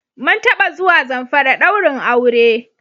Mun taba zuwa Zamfari ɗaurin aure.